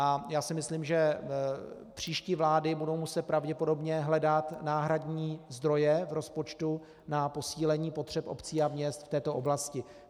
A já si myslím, že příští vlády budou muset pravděpodobně hledat náhradní zdroje v rozpočtu na posílení potřeb obcí a měst v této oblasti.